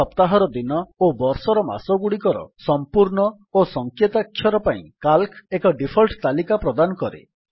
ସପ୍ତାହର ଦିନ ଓ ବର୍ଷର ମାସଗୁଡ଼ିକର ସମ୍ପୂର୍ଣ୍ଣ ଓ ସଂକେତାକ୍ଷର ପାଇଁ ସିଏଏଲସି ଏକ ଡିଫଲ୍ଟ ତାଲିକା ପ୍ରଦାନ କରେ